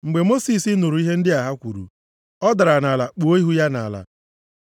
Mgbe Mosis nụrụ ihe ndị a ha kwuru, ọ dara nʼala kpuo ihu ya nʼala.